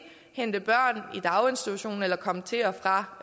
hente børn i daginstitutionerne eller komme til og fra